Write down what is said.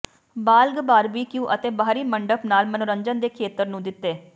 ਬਾਲਗ ਬਾਰਬਿਕਯੂ ਅਤੇ ਬਾਹਰੀ ਮੰਡਪ ਨਾਲ ਮਨੋਰੰਜਨ ਦੇ ਖੇਤਰ ਨੂੰ ਦਿੱਤੇ